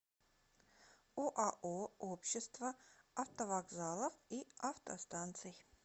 оао общество автовокзалов и автостанций